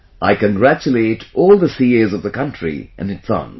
I congratulate all the CAs of the country in advance